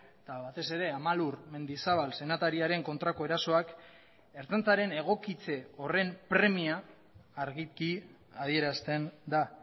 eta batez ere amalur mendizabal senatariaren kontrako erasoak ertzaintzaren egokitze horren premia argiki adierazten da